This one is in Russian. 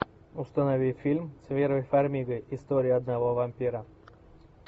установи фильм с верой фармигой история одного вампира